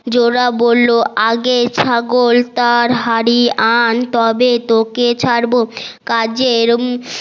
জোলা বললো আগে ছাগল আর হাড়ি আন তবে তোকে ছাড়বো কাজের